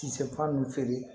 Kisɛ fa nn feere